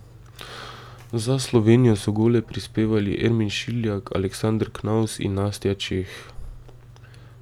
Za Slovenijo so gole prispevali Ermin Šiljak, Aleksander Knavs in Nastja Čeh.